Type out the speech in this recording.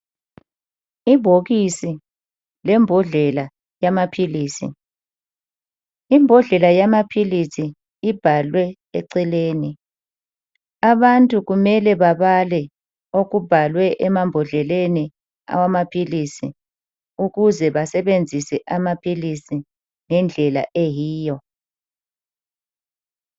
Ibhokisi lembodlela yamaphilisi, imbodlela yamaphilisi ibhalwe eceleni abantu kumele babale okubhalwe emambodleleni awamaphilisi ukuze besebenzise amaphilisi ngendlela eyiyo.